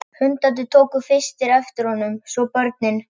Hundarnir tóku fyrstir eftir honum, svo börnin.